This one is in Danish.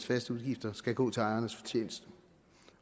faste udgifter skal gå til ejernes fortjeneste